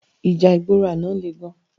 Íjà igbóró àná lé gán